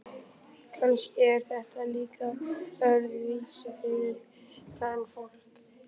Kannski er þetta líka öðruvísi fyrir kvenfólk.